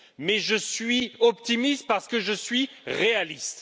Mais je suis optimiste parce que je suis réaliste.